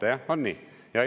" Te noogutate, on nii?